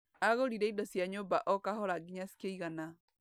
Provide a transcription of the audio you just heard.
Agũrire indo cia nyũmba okahora nginya cikĩigana.